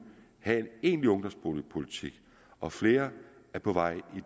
havde en egentlig ungdomsboligpolitik og flere er på vej i